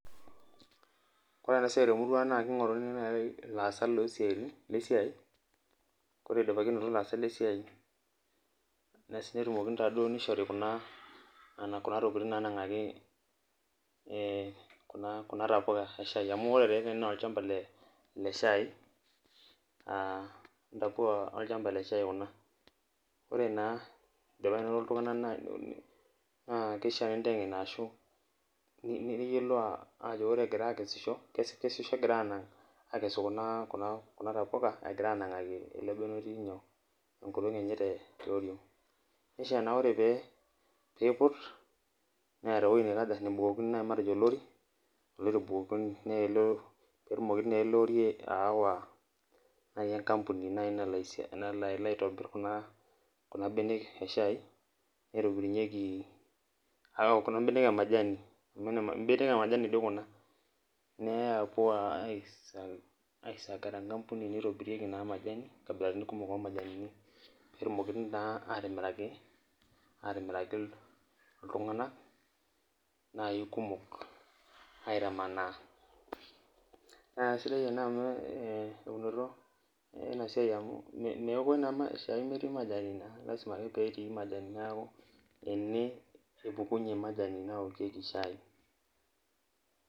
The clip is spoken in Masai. Ore enasiai temurua aang na kingoruni nai laasak losiaitini lesiai ore idipaki ainoto laasak lesiai netumoki na nishori kuna tokitin nanangakini ekuna tapuka eshai amu ore ta ene na olchambai leshai , ntapuka olchamba le shai kuna ore na indipa ainoto ltunganak na kishakino nintengen ajo ore egirai akesisho kesej ore egirai aitau kuna tapuka egira anangaki elebene otii tioriong nisho na ore peiput neeta ewoi nabukokini matejo olori petumokibna elel ori aywa nai enkampuni nalo aya kuna benek eshai nitobirunyeki ekuna benek emajani, mbenek emajani toi kuna neya apuo aisag tenkampuni nitobirunyeki na majani nkabilaitin kumok omajani netumoki na atimiraki ltunganak nai kumok aitamanaa na aisaidai ena eunoto enasiai amu meokoi na shai nemetii majani lasima ake petii majani neaku ene epukunye majani naokieki shai.